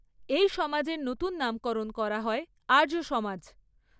এই সমাজের নতুন নামকরণ করা হয় আর্য সমাজ।